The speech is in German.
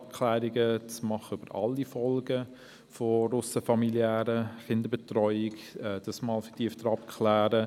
Man könnte einen solchen Marschhalt dazu nutzen, alle Folgen der ausserfamiliären Kinderbetreuung einmal vertieft abzuklären.